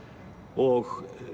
og